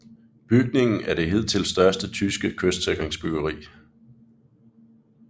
Bygningen er det hidtil største tyske kystsikringsbyggeri